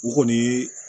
O kɔni ye